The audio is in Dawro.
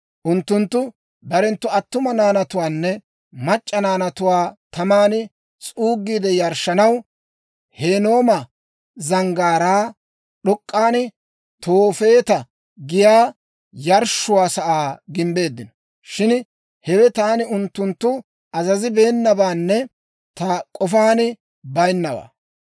Unttunttu barenttu attuma naanatuwaanne mac'c'a naanatuwaa taman s'uuggiide yarshshanaw, Hinnooma Zanggaaraa d'ok'k'an Toofeeta giyaa yarshshuwaa sa'aa gimbbeeddino. Shin hewe taani unttunttu azazabeenabaanne ta k'ofaan bayinnawaa.